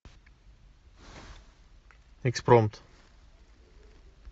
экспромт